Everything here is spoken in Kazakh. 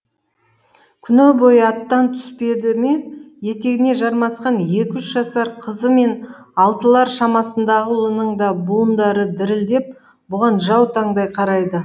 күні бойы аттан түспеді ме етегіне жармасқан екі үш жасар қызы мен алтылар шамасындағы ұлының да буындары дірілдеп бұған жау таңдай қарайды